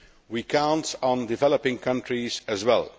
We count on developing countries as well.